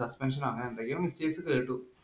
suspension ഓ അങ്ങനെ എന്തൊക്കെയോ mistake കേട്ടു.